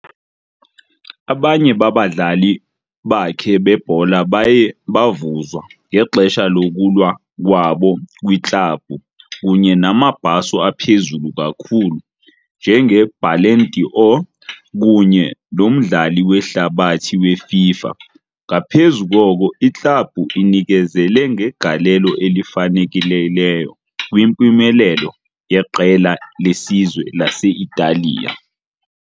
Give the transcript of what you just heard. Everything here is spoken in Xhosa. Abanye babadlali bakhe bebhola baye bavuzwa ngexesha lokulwa kwabo kwiklabhu kunye namabhaso aphezulu kakhulu, njengeBallon d'Or kunye noMdlali weHlabathi weFIFA, ngaphezu koko, iklabhu inikezele ngegalelo elifanelekileyo kwimpumelelo yeqela lesizwe lase-Italiya.